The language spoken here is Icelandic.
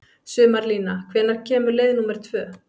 Sumarlína, hvenær kemur leið númer tvö?